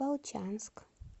волчанск